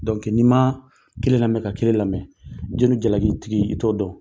Dɔnki n'i ma kelen lamɛn ka kelen lamɛn, ko ni jalakitigi i t'o dɔn.